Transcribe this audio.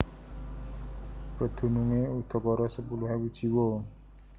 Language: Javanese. Pedunungé udakara sepuluh ewu jiwa